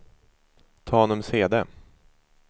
Tanumshede